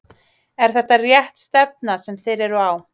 Er þetta rétt stefna sem þeir eru á?